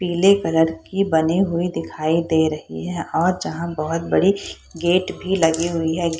पीले कलर की बनी हुई दिखाई दे रही है और जहाँ बहुत बड़ी गेट भी लगी हुई है।